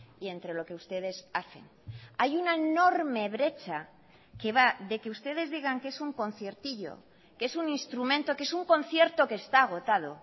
y entre lo que ustedes hacen hay una enorme brecha que va de que ustedes digan que es un conciertillo que es un instrumento que es un concierto que está agotado